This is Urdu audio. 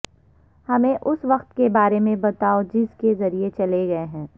ہمیں اس وقت کے بارے میں بتاو جس کے ذریعہ چلے گئے ہیں